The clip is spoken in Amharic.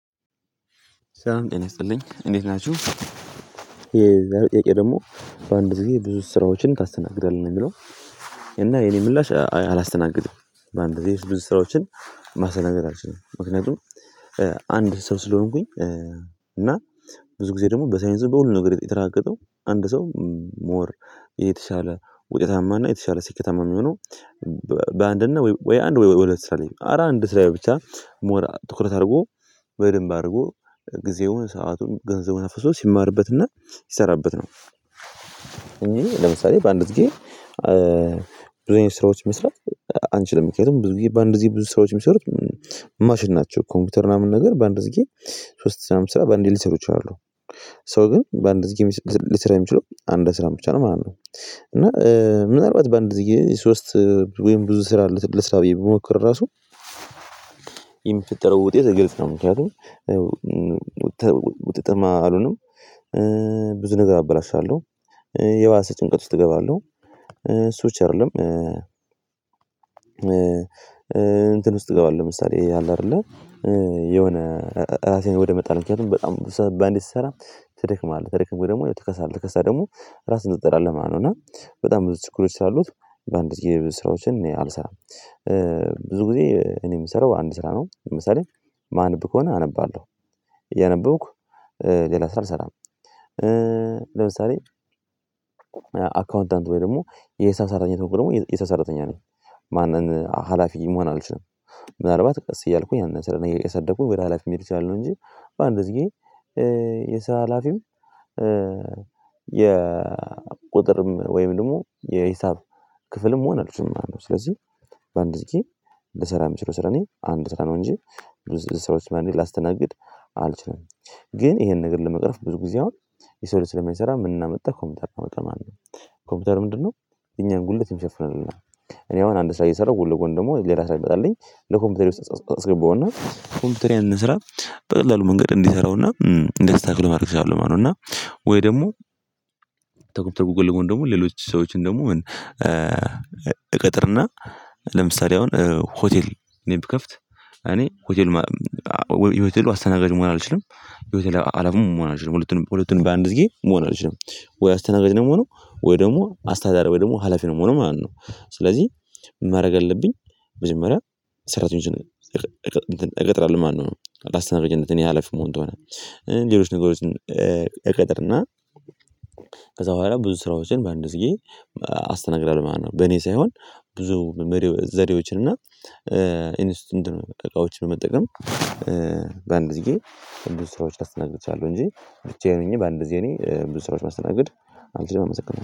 ሰላም ይስጥልኝ እንዴት ናችሁ የዛሬው ጥያቄ ደግሞ "በአንድ ጊዜ ብዙ ስራዎችን ታስተናግዳለህ?" ነው የሚለው። እና የኔ ምላሽ አላስተናግድም በአንድ ጊዜ ብዙ ስራዎችን ማስተናገድ አልችልም። ምክንያቱም አንድ ሰው ስለሆንኩኝ እና ብዙ ጊዜ ደግሞ በሳይንስ በሁሉም ነገር የተራገጠው አንድ ሰው ሞር የተሻለ ውጤታማና የተሻለ ስኬታማ የሚሆነው በአንድ እና ወይ አንድ ወይ ሁለት ስራ ላይ ነው ኧረ አንድ ስራ ላይ ብቻ ሞር ትኩረት አድርጎ በደንብ አድርጎ ጊዜውን ሰአቱን ገንዘቡን አፍስሶ ሲማርበትና ሲሰራበት ነው። እኔ ለምሳሌ በአንድ ግዜ ብዙ አይነት ስራዎች መስራት አንችልም ምክንያቱም ብዙ ጊዜ በአንድ ጊዜ ብዙ ሰራዎችን የሚሰሩት ማሽን ናቸው። ኮምፒውተር ምናምን ነገር በአንድ ጊዜ ሶስት ስራ ሚሰራ በአንዴ ሊሰሩ ይችላሉ። ሰው ግን በአንድ ጊዜ ሊሰራ የሚችለው አንድ ስራን ብቻ ነው ማለት ነው። እና ምናልባት በአንድ ጊዜ ሶስት ወይም ብዙ ስራ ልስራ ብዬ ብሞክር ራሱ የሚፈጠረው ውጤት ግልጽ ነው ምክንያቱም ውጤታማ አልሆንም። ብዙ ነገር አበላሻለሁ። የባሰ ጭንቀት ውስጥ እገባለሁ። እሱ ብቻ አይደለም እንትን ውስጥ እገባለህ ምሳሌ ይሄ አለ አይደለ የሆነ ራሴን ወደ መጣል ምክንያቱም በጣም ብዙ ስራ በአንዴ ስትሰራ ትደክማለህ ከደከመህ ደግሞ ትከሳለህ ተከሳህ ደግሞ ራስህን ትጥላለህ ማለት ነው እና በጣም ብዙ ችግሮች ስላሉት በአንድ ጊዜ ብዙ ስራዎችን እኔ አልሰራም። ብዙ ጊዜ እኔ የምሰራው አንድ ስራ ነው ለምሳሌ ማነብ ከሆነ አነባለሁ እያነበብኩ ሌላ ስራ አልሰራም ለምሳሌ አካውንታንት ወይ ደግሞ የሳሰራተኛ ተኩል ደግሞ የሳሰራተኛ ነው ማንን ሀላፊ መሆን አልችልም። ምናልባት ቀስ እያልኩኝ ያንን ስር እያሳደኩኝ ወደ ሀላፊ መሄድ እችላለሁ እንጂ በአንድ እዚህ ጌ የሰራ ሀላፊም የቁጥርም ወይም ደግሞ የሂሳብ ክፍልም መሆነ አልችልም ማለት ነው። ስለዚህ በአንድ ጊዜ ልሰራ ምችለው ስራ እኔ አንድ ስራ ነው እንጂ ብዙ ስራዎች በአንዴ ላስተናግድ አልችልም። ግን ይሄን ነገር ለመቅረፍ ብዙ ጊዜ አሁን የሰው ልጅ ስለማይሰራ ምንን አመጣ ኮምፒተርን አመጣ ማለት ነው። ኮምፒውተር ምንድነው እኛን ጉልበት የሚሸፍንልን ነው እኔ አሁን አንድ ስራ እየሰራሁ ጎን ለጎን ደግሞ ሌላ ስራ ቢመጣልኝ ለኮምፒውተር ውስጥ ጸጸት አስገባው እና ኮምፒውተሬ ያንን ስራ በቀላሉ መንገድ እንዲሰራውና እንዲያስተካክለው ማድረግ እችላለው ማለት ነው እና ወይ ደግሞ ተኩ ተኩ ጎን ደግሞ ሌሎች ሰዎችን ደግሞ እቀጥርና ለምሳሌ አሁን ሆቴል እኔ ብከፍት እኔ ሆቴል የሆቴሉ አስተናጋጅ መሆን አልችልም። የሆቴል ሃላፊም መሆን አልችልም ሁለቱንም ሁለቱንም በአንድ ጊዜ መሆን አልችልም ወይ አስተናጋጅ ነው የምሆነው ወይ ደግሞ አስተዳዳሪ ወይ ደግሞ ሀላፊ ነው የምሆነው ማለት ነው። ስለዚህ ማድረግ የለብኝ መጀመሪያ ሰራተኞችን እቀ እቀ እቀጥራለሁ ማለት ነው። ላስተናጋጅነት እኔ ያለፍ መሆን እንደሆነ ሌሎች ነጉሮችን እቀጥርና ከዛ በኋላ ብዙ ስራዎችን በአንድ ጊዜ አስተናግዳለሁ ማለት ነው። በኔ ሳይሆን ብዙ ዘዴዎችን እና እኔ እሱ እንደ እቃዎች በመጠቀም በአንድ ዚጌ ብዙ ስራዎች ላስተናግድ እችላለሁ እንጂ ብቻዬን ሆኜ በአንድጊዜ እኔ ብዙ ስራዎችን ማስተናግድ አልችልም አመሰግናለሁ።